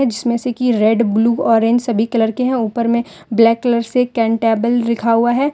जिसमें से कि रेड ब्लू ऑरेंज सभी कलर के हैं ऊपर में ब्लैक कलर से कैंटेबल लिखा हुआ है।